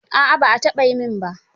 A'a ba a taɓa yi min ba.